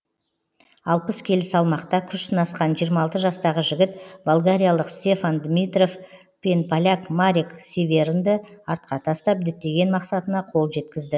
алпыс келі салмақта күш сынасқан жиырма алты жастағы жігіт болгариялық стефан димитров пен поляк марек северынды артқа тастап діттеген мақсатына қол жеткізді